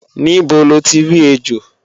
Níbo loti rí ejò?